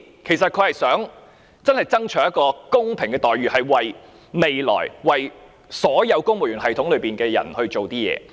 其實他真的想爭取一個公平的待遇，是為了未來公務員系統中的所有人做點事。